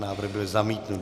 Návrh byl zamítnut.